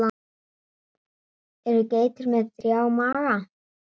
Eru geitur með þrjá maga?